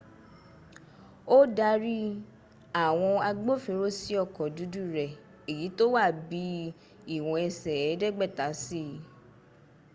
ó darí àwọn agbófinró sí ọkọ̀ dúdú rẹ̀ èyí tó wa bí i ìwọ̀n ẹsẹ̀ ẹ̀ẹ́dẹ́gbẹ̀ta sí i